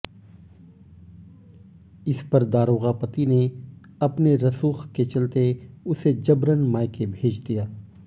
इस पर दारोगा पति ने अपने रसूक के चलते उसे जबरन मायके भेज दिया